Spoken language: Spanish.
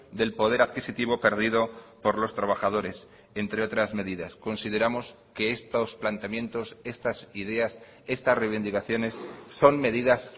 del poder adquisitivo perdido por los trabajadores entre otras medidas consideramos que estos planteamientos estas ideas estas reivindicaciones son medidas